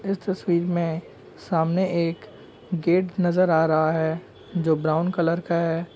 इस तस्वीर में सामने एक गेट नजर आ रहा है जो ब्राउन कलर का है।